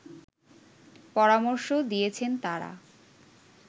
পরামর্শ দিয়েছেন তারা